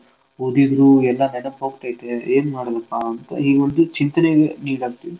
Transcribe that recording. ಓದೀದ್ರೂ ಎಲ್ಲಾ ನೆನಪ್ಹೋಗ್ತೇತೆ ಏನ್ ಮಾಡೋದಪಾ ಅಂತ ಈಗೊಂದು ಚಿಂತೆಗೆ ಈಡಾಗ್ತಿವಿ.